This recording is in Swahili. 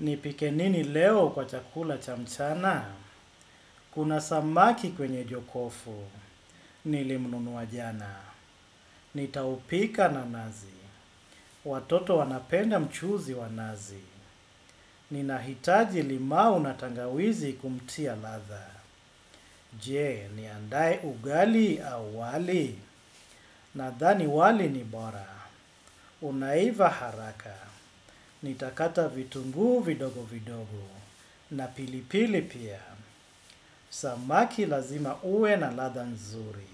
Nipike nini leo kwa chakula cha mchana? Kuna samaki kwenye jokofu. Nile mnunu wajana. Nitaupika na nazi. Watoto wanapenda mchuzi wa nazi. Nina hitaji limao natangawizi kumtia ladha. Je, ni andae ugali au wali. Nadhani wali ni bora. Unaiva haraka. Nitakata vitungu vidogo vidogo. Na pilipili pia. Samaki lazima uwe na ladha nzuri.